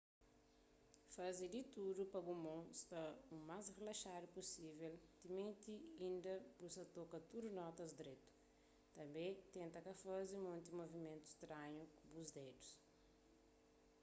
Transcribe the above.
faze di tudu pa bu mon sta u más rilaxadu pusível timenti inda bu sa ta toka tudu notas dretu tanbê tenta ka faze monti muvimentu stranhu ku bu dedus